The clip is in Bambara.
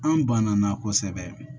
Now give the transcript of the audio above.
An banana kosɛbɛ